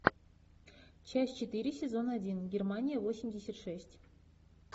часть четыре сезон один германия восемьдесят шесть